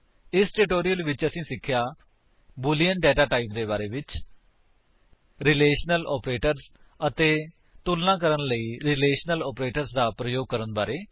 ਇਸ ਟਿਊਟੋਰਿਅਲ ਵਿੱਚ ਅਸੀਂ ਸਿੱਖਿਆ ਬੂਲਿਅਨ ਡੇਟਾ ਟਾਈਪ ਦੇ ਬਾਰੇ ਵਿੱਚ ਰਿਲੇਸ਼ਨਲ ਆਪਰੇਟਰਸ ਅਤੇ ਤੁਲਣਾ ਕਰਣ ਲਈ ਰਿਲੇਸ਼ਨਲ ਆਪਰੇਟਰਸ ਦਾ ਪ੍ਰਯੋਗ ਕਰਨ ਬਾਰੇ